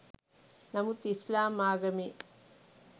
නමුත් ඉස්‌ලාම් ආගමේ